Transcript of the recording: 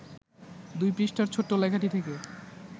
২ পৃষ্ঠার ছোট্ট লেখাটি থেকে